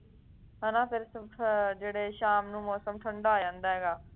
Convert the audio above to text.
ਹੈਂ ਨਾ ਫੇਰ ਅਹ ਸ਼ਾਮ ਨੂੰ ਮੌਸਮ ਠੰਡਾ ਹੋ ਜਾਂਦਾ ਹੈ ਗਾ